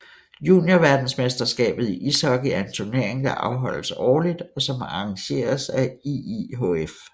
Juniorverdensmesterskabet i ishockey er en turnering der afholdes årligt og som arrangeres af IIHF